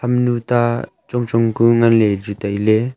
hamnu ta chong chong ku ngan le chu taile.